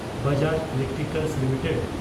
Bajaj Electricals limited